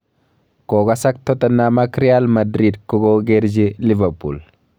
Kokasak Tottenham ak R Madrid, kokokerchi Liverpool